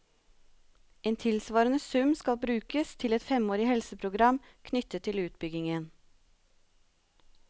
En tilsvarende sum skal brukes til et femårig helseprogram knyttet til utbyggingen.